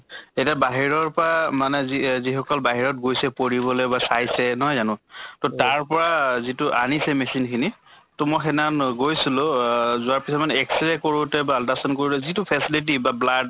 এতিয়া বাহিৰৰ পা মানে যি অহ যি সকল বাহিৰত গৈছে পঢ়িবলৈ বা চাইছে, নহয় জানো? তʼ তাৰ পৰা যিটো আনিছে machine খিনি তʼ মই সেইদিনা খন গৈছিলো, যোৱাৰ পিছত মানে X ray কৰোতে বা ultra sound কৰোতে যিটো facility বা blood